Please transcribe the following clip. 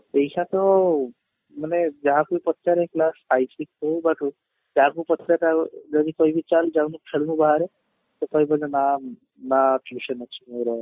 ପଇସା ତ ମାନେ ଯାହାକୁ ପଚାରେ class five ହଉ ବା ଯାହାକୁ ପଚାରେ ତାକୁ ଯଦି କହିବି ଚାଲ ଯାଉନୁ ଖେଳୁନୁ ବାହାରେ ତ କହିବେ ନା ମା tuition ଅଛି ମୋର